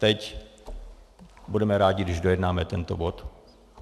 Teď budeme rádi, když dojednáme tento bod.